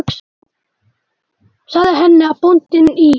Ég sagði henni að bóndinn í